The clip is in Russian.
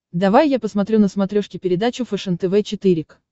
давай я посмотрю на смотрешке передачу фэшен тв четыре к